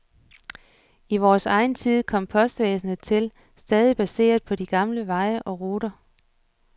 I vores egen tid kom postvæsenet til, stadig baseret på de gamle veje og ruter.